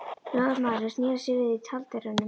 Lögmaðurinn sneri sér við í tjalddyrunum.